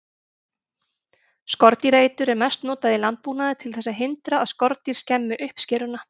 Skordýraeitur er mest notað í landbúnaði til þess að hindra að skordýr skemmi uppskeruna.